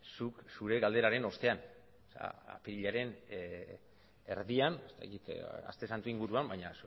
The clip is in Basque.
zuk zure galderaren ostean apirilaren erdian ez dakit aste santu inguruan baina